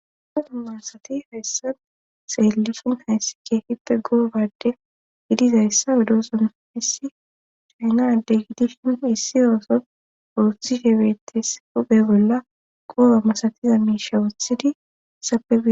asna tummansati hayssan seellisin hayssi keefippe goobade gidizayssa wedooson hessi chaynadde gidishin issi ooso uruthi shebeetes uphe bolla qooba masatiza miisha wuthidi sapei